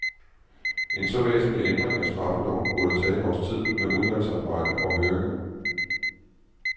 En så væsentlig ændring af straffeloven burde tage et års tid med udvalgsarbejde og høringer.